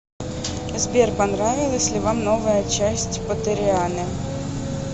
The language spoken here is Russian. сбер понравилась ли вам новая часть поттерианы